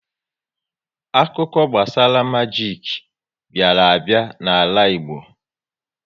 Akụkọ gbasara majik bịara a bịa n'ala Igbo